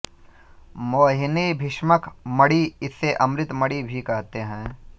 मोहिनी भीष्मक मणि इसे अमृत मणि भी कहते हैं